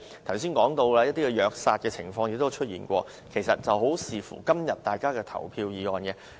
剛才說到，還有一些虐殺動物的情況，問題如何解決，其實很視乎今天大家的投票意向。